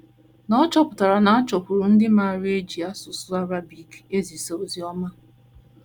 Noor chọpụtara na a chọkwuru ndị maara e ji asụsụ Arabic ezisa ozi ọma.